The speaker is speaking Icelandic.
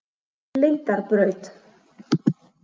Lindarbraut